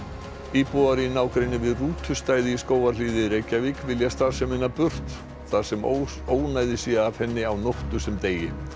íbúar í nágrenni við í Skógarhlíð í Reykjavík vilja starfsemina burt þar sem ónæði sé af henni á nóttu sem degi